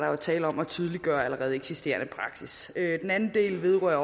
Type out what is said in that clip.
er tale om at tydeliggøre allerede eksisterende praksis den anden del vedrører